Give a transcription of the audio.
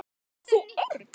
Ert þú Örn?